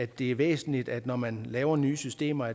det er væsentligt at man når man laver nye systemer